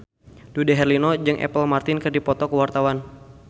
Dude Herlino jeung Apple Martin keur dipoto ku wartawan